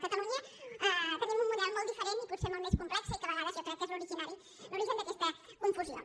a catalunya tenim un model molt diferent i potser molt més complex i que a vegades jo crec que és l’origen d’aquesta confusió